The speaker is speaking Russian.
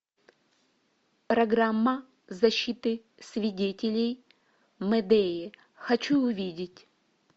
программа защиты свидетелей мэдеи хочу увидеть